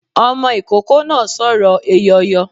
Ọmọ ikoko náá sórò eyọyọ